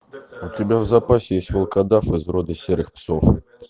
у тебя в запасе есть волкодав из рода серых псов